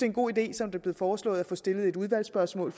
en god idé som det blev foreslået at få stillet et udvalgsspørgsmål